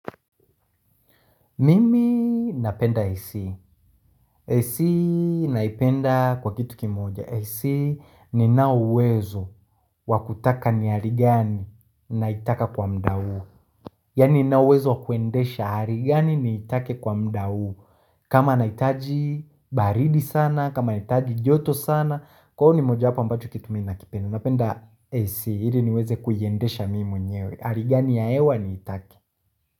Mimi napenda AC. AC naipenda kwa kitu kimoja. AC ninao uwezo wa kutaka ni hari gani naitaka kwa muda huo. Yaani ninauwezo wakwendesha hari gani niitake kwa muda huo. Kama naitaji baridi sana, kama naitaji joto sana. Kwangu ni moja wapo ambacho kitu mi nakipenda. Napenda AC. Hili niweze kuyiendesha mimi mwenyewe. Hari gani ya hewa niitake.